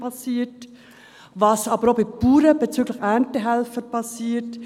Sie sehen auch, was bei Bauern bezüglich Erntehelfer geschieht.